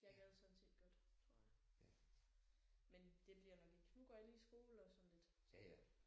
Jeg gad sådan set godt tror jeg. Men det bliver nok ikke nu går jeg lige i skole og sådan lidt